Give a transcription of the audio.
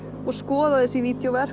og skoðað þessi